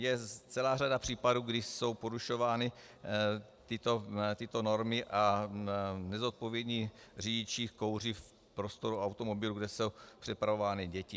Je celá řada případů, kdy jsou porušovány tyto normy a nezodpovědní řidiči kouří v prostoru automobilu, kde jsou přepravovány děti.